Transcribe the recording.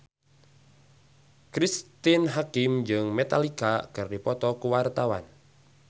Cristine Hakim jeung Metallica keur dipoto ku wartawan